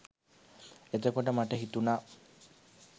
එතකොට මට හිතුනා